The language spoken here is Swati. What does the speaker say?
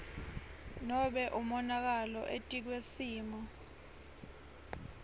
nobe umonakalo etikwesimo